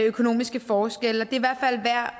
økonomiske forskelle